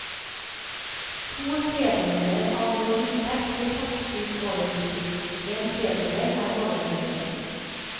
To tredjedeler av vår inntekt blir tatt ut over pris, en tredjedel er overføringer.